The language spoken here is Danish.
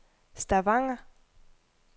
Stavanger